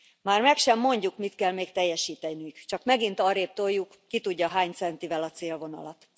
Már meg sem mondjuk, mit kell még teljesíteniük, csak megint arrébb toljuk, ki tudja hány centivel, a célvonalat.